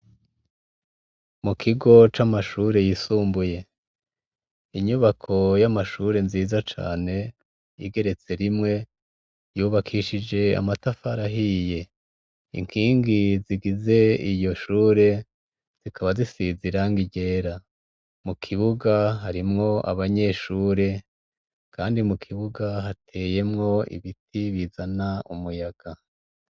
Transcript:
Mukigo c'amashure yisumbuye, inyubako yamashure nziza cane igeretse rimwe yubakishije amatafari ahiye. Ninkingi zigize iyo shure zikaba zisize irangi ryera, mukibuga harimwo abanyeshure kandi mukibuga hateyemwo ibiti bizana umuyaga.